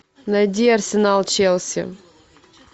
найди арсенал челси